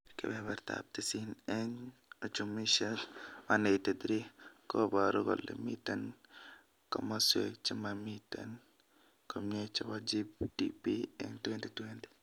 Kebeberteab tisin eng uchumishek 183 kobaru kole miten komaswek chemamitien komie chobo GDP eng 2020